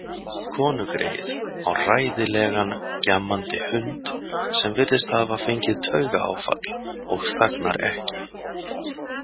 Konugreyið á hræðilegan gjammandi hund sem virðist hafa fengið taugaáfall og þagnar ekki.